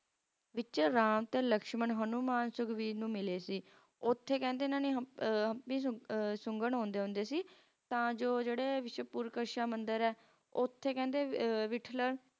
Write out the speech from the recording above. ਕਿਤੇ ਆਰਾਮ ਤੇ ਲਕਸ਼ਮਣ ਹਨੂੰਮਾਨ ਸੁਖਬੀਰ ਨੂੰ ਮਿਲੇ